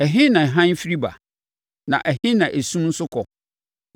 “Ɛhe na hann firi ba? Na ɛhe na esum nso kɔ?